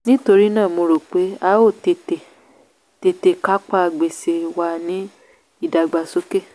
nítorí náà mo rò pé a ó tètè tètè kápá gbèsè wa ní ìdàgbàsókè.